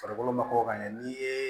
Farikolo mako ka ɲɛ n'i ye